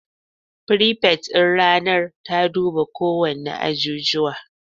Firifet din ranar ta guba kowanne ajijuwa